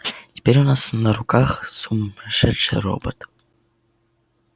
теперь у нас на руках сумасшедший робот